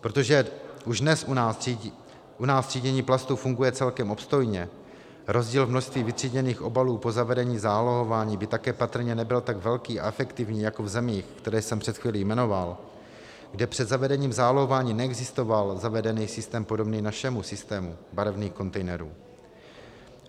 Protože už dnes u nás třídění plastů funguje celkem obstojně, rozdíl v množství vytříděných obalů po zavedení zálohování by také patrně nebyl tak velký a efektivní jako v zemích, které jsem před chvílí jmenoval, kde před zavedením zálohování neexistoval zavedený systém podobný našemu systému barevných kontejnerů.